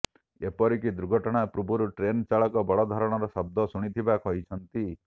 ଏପରିକି ଦୁର୍ଘଟଣା ପୂର୍ବରୁ ଟ୍ରେନ ଚାଳକ ବଡଧରଣର ଶବ୍ଦ ଶୁଣିଥିବା କହିଛନ୍ତି